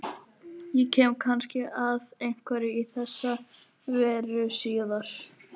Ég kem kannski að einhverju í þessa veru síðar.